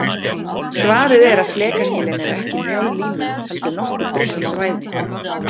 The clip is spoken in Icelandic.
Svarið er að flekaskilin eru ekki mjó lína heldur nokkuð breitt svæði.